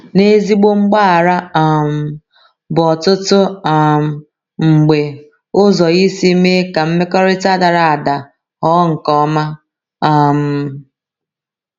N’ezigbo mgbaghara um bụ ọtụtụ um mgbe ụzọ isi mee ka mmekọrịta dara ada ghọọ nke ọma. um